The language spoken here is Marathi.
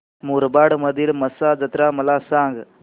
मुरबाड मधील म्हसा जत्रा मला सांग